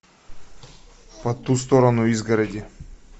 по ту сторону изгороди